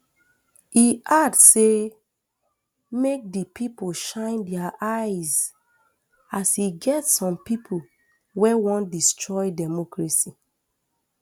e add say make di pipo shine dia eyes as e get some pipo wey wan destroy democracy